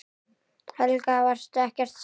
Helga: Varstu ekkert hræddur?